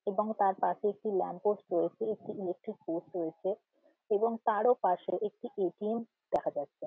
এবং তার পাশে একটি ল্যাম্প পোস্ট রয়েছে | একটি ইলেকট্রিক পোস্ট রয়েছে এবং তারও পাশে একটি এ.টি.এম দেখা যাচ্ছে।